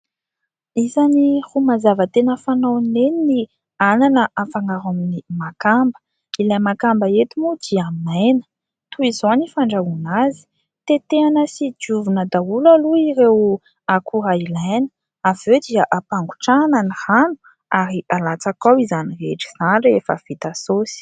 Isany ro mazava tena fanaon'i neny ny anana, afangaro amin'ny makamba. Ilay makamba eto moa dia maina. Toy izao ny fandrahoana azy : tetehina sy diovina daholo aloha ireo akora ilaina, avy eo dia ampangotrahana ny rano, ary alatsaka ao izany rehetra izany, rehefa vita sosy.